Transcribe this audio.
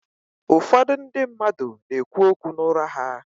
Ụfọdụ ndị mmadụ na-ekwu okwu n’ụra ha